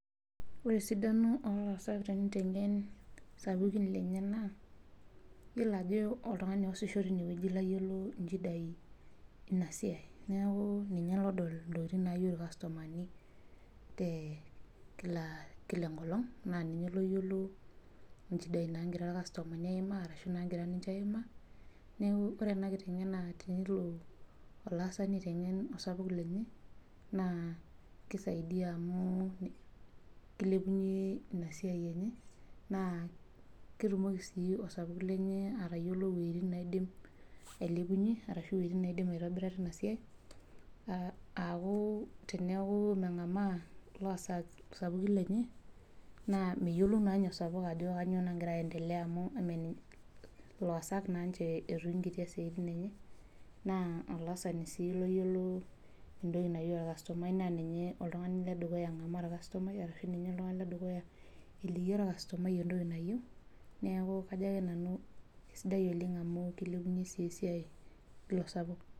Ore esidano olaas tenitengen sapukin lenye na iyiolo ajo oltungani oasisho tinewueji oyiolo nchidai neaku ninye odol ntokitin nayieu irkastomani tenkila enkolong na ninye oyiolo nchidai nagiraa irkastomani aimaa ashu ninche aimaa neaku ore ena kitengeneza tenelo olaasani aitengen orkitok lenye na kisaidia amu kilepunye inasiai na ketumoki si osapuk lenye atayiolo weutin naidim ailepunye ashu wuetin nindim aitobira tesiai aaku teneaku mengamaa laasak isapukin lenye na meyiolou na ninye osapuk ajovkanyio nagira aiendele loasak na ninche etungukitia siatin enye na olaasani si oltungani oyiolo entoki na yieu irkastomani na ninye oltungani ledukuya eliki orkastomai entoki nayieu na kesidai oleng amu kilepunye esiai ilo sapuk.